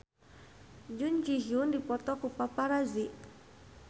Jun Ji Hyun dipoto ku paparazi